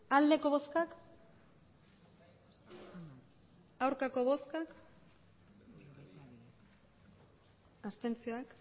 emandako botoak hirurogeita